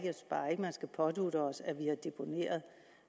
bare ikke man skal pådutte os at vi har deponeret